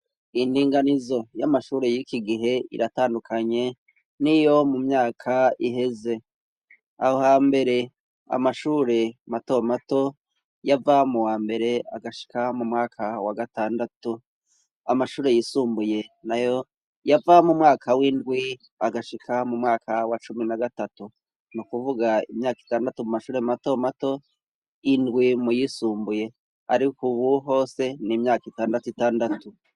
Indinganizo y'amashure yiki gihe iratandukanye niyo mu myaka iheze, aho hambere amashure mato mato yava mu wa mbere agashika mu mwaka wa gatandatu amashure yisumbuye nayo yava mu mwaka w'indwi agashika mu mwaka wa cumi na gatatu nu kuvuga imyaka itandatu mu mashure mato mato indwi muyisumbuye ariko ubu hose n' imyaka itandatu itandatu.